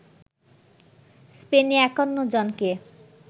স্পেনে ৫১ জনকে